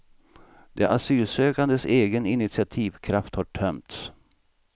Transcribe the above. De asylsökandes egen initiativkraft har tömts.